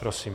Prosím.